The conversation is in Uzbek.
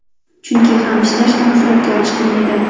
Chunki ham ishlash, ham suratga olish qiyin edi.